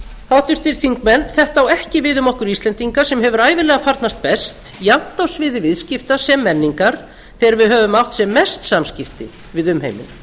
háttvirtir alþingismenn þetta á ekki við um okkur íslendinga sem hefur ævinlega farnast best jafnt á sviði viðskipta sem menningar þegar við höfum átt sem mest samskipti við umheiminn